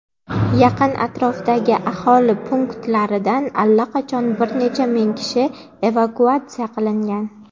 Yaqin atrofdagi aholi punktlaridan allaqachon bir necha ming kishi evakuatsiya qilingan.